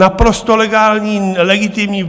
Naprosto legální, legitimní.